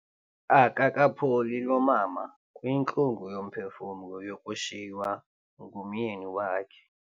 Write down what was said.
Akakapholi lo mama kwintlungu yomphefumlo yokushiywa ngumyeni wakhe.